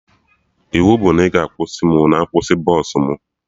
Iwu bụ na ị ga-akwụsị mụ na nkwụsị bọsụ mụ